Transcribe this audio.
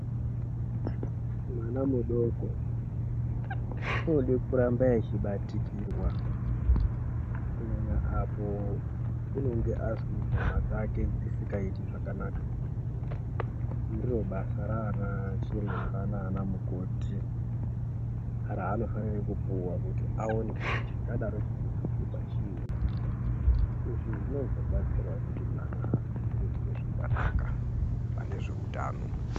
Mwana mudoko, anode kurambe echibatikirwa kunyanya apo nyama dzake dzisingaiti zvakanaka ,ndiro basa raana chiremba nana mukoti raanofane kupuwa kuti awone kuti chingade chichishupa chii? Izvi zvinozobatsirawo kuti mwana akure zvakanaka panezvehutano.